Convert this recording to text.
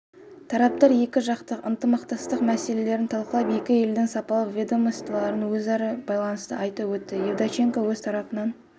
тараптар екіжақты ынтымақтастық мәселелерін талқылап екі елдің салалық ведомстволарының өзара байланыстын айтып өтті евдоченко өз тарапынан